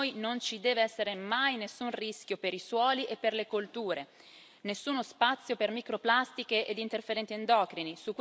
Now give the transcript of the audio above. Per noi non ci deve essere mai nessun rischio per i suoli e per le colture, nessuno spazio per microplastiche ed interferenti endocrini.